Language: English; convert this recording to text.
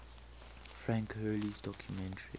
frank hurley's documentary